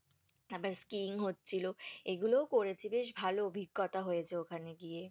তারপরে স্কিং হচ্ছিলো, এগুলোও করেছি, বেশ ভালো অভিজ্ঞতা হয়েছে ওখানে গিয়ে।